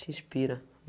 Se inspira.